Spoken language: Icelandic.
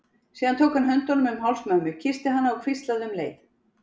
Síðan tók hann höndunum um háls mömmu, kyssti hana og hvíslaði um leið